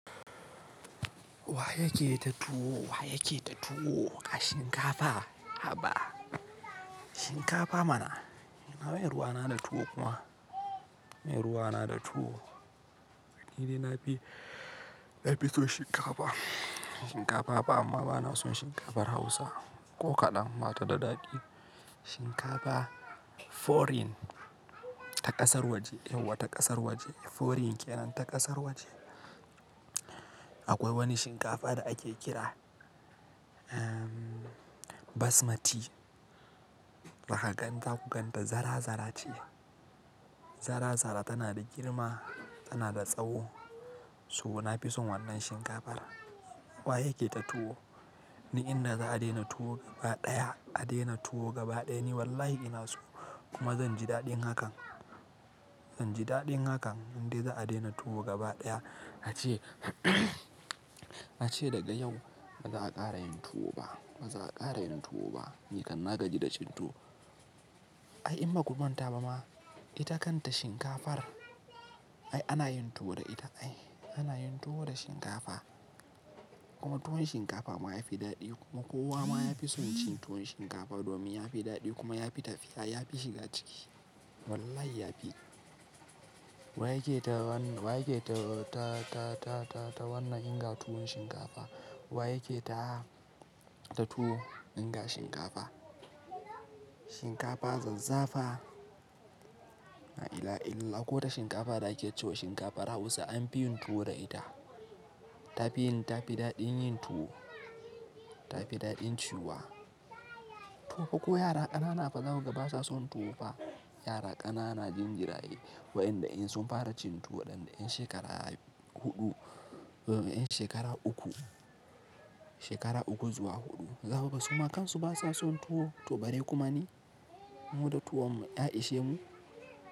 Wa yake ta tuwo? Wa yake ta tuwo? Ga shinkafa, haba. Shinkafa mana, ina meye ruwa na da tuwo kuma? Mai ruwa na da tuwo. Ni dai na fi, na fi so shinkafa. Shinkafa ba amma bana son shinkafar Hausa ko kaɗan. Bata da daɗi. Shinkafa foreign, ta ƙasar waje. Yauwa ta ƙasar waje. Foreign kenan ta ƙasar waje. Akwai wani shinkafa da ake kira, umm, Basmati. Zaka gan ta ku gan ta zara-zara ce. Zara-zara tana da girma, tana da tsawo. So na fi son wannan shinkafar. Wa yake ta tuwo? Ni in na za a daina tuwo gaba ɗaya. A daina tuwo gaba ɗaya ni wallahi ina so kuma zan ji daɗin hakan. Zan ji daɗin hakan in dai za a daina tuwo gaba ɗaya. Na ce, na ce daga yau ba za a ƙara yin tuwo ba. Ba za a ƙara yin tuwo ba. Ni kan na gaji da cin tuwo. Ai in ba ku manta ba ma, ita kanta shinkafar ai ana yin tuwo da ita. Ai ana yin tuwo da shinkafa. Kuma tuwon shinkafa ma ya fi daɗi kuma kowa ma ya fi son cin tuwon shinkafa domin ya fi daɗi kuma ya fi tafiya, ya fi shiga ciki. Wallahi ya fi. Wa yake ta wannan, wa yake ta, ta, ta, ta, ta, ta wannan inga tuwon shinkafa? Wa yake ta, ta tuwo inga shinkafa? Shinkafa zazzafa. La'ila ha illallah. Ko ta shinkafa da ake cewa shinkafar Hausa an fi yin tuwo da ita. Ta fi yin, ta fi daɗin yin tuwo. Ta fi daɗin ciyu wa. Tuwo ko yara ƙanana fa za ku ga ba sa son tuwo fa. Yara ƙanana jin jiraye wa'iada in sun fara cin tuwo ɗan ɗayan shekara huɗu, umm, shekara uku, shekara uku zuwa huɗu za kuga suma. Kan su ba sa son tuwo. To bare kuma ni, mu da tuwon mu, ya ishe mu.